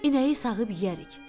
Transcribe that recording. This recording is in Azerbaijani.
İnəyi sağıb yeyərik.